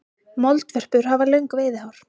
Moldvörpur hafa löng veiðihár.